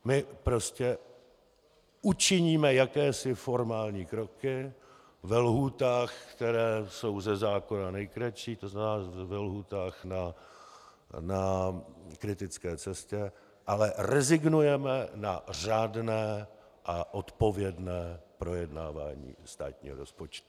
My prostě učiníme jakési formální kroky ve lhůtách, které jsou ze zákona nejkratší, to znamená ve lhůtách na kritické cestě, ale rezignujeme na řádné a odpovědné projednávání státního rozpočtu.